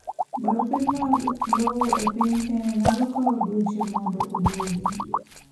Barupe mag lowo epiny Kenya nyalo kao dweche mondo oduogi.